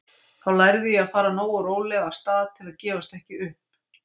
Þá lærði ég að fara nógu rólega af stað til að gefast ekki upp.